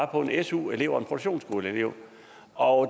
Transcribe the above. på en su elev og en produktionsskoleelev og